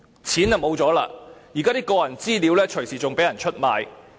大家已經失了錢，甚至連個人資料也隨時會被人出賣。